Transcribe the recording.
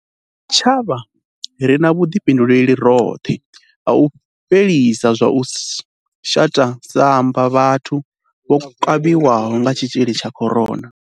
Sa tshitshavha, ri na vhuḓifhinduleli roṱhe ha u fhelisa zwa u shata samba vhathu vho kavhiwaho nga tshitzhili tsha corona.